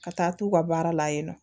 Ka taa t'u ka baara la yen nɔ